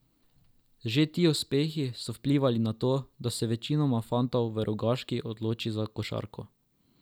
Že ti uspehi so vplivali na to, da se večina fantov v Rogaški odloči za košarko.